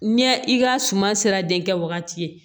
Ɲɛ i ka suma sera denkɛ wagati ye